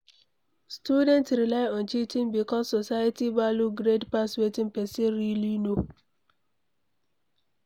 Student rely on cheating because society value grade pass wetin person really know